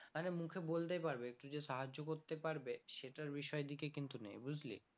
আরে মুখে বলতে পারবে কিছু সাহায্য করতে পারবে সেটার বিষয় এর দিকে কিন্তু নেই বুঝলি